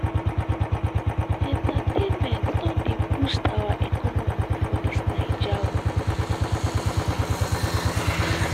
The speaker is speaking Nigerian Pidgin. entertainment don dey boost our economy for dis naija o.